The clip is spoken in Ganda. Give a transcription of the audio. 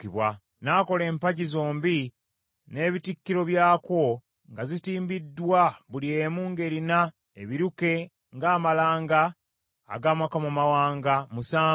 N’akola empagi zombi n’ebitikkiro byakwo nga zitimbiddwa buli emu ng’erina ebiruke ng’amalanga ag’amakomamawanga, musanvu.